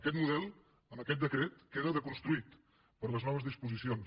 aquest model amb aquest decret queda desconstruït per les noves disposicions